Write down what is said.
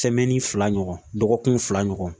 fila ɲɔgɔn dɔgɔkun fila ɲɔgɔn